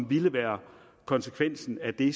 ville være konsekvensen af det